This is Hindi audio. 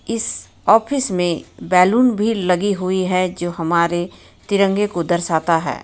इस ऑफिस में बेलून भी लगी हुई है जो हमारे तिरंगे को दर्शाता है.